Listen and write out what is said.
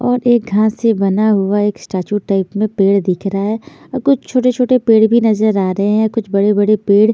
और एक घास से बना हुआ एक स्टेचू टाइप में पेड़ दिख रहा हे और कुछ छोटे-छोटे पेड़ भी नजर आ रहे हैं और कुछ बड़े-बड़े पेड़ --